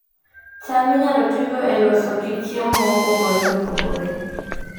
cham inyalo tigo e loso kit chiemo mopogore opogore